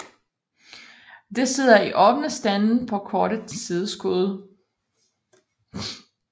De sidder i åbne stande på korte sideskud